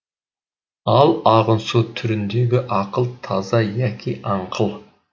ал ағын су түріндегі ақыл таза яки аңқыл